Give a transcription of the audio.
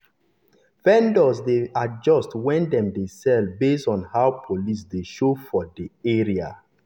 vendors dey adjust when dem dey sell based on how police dey show for dey show for the area.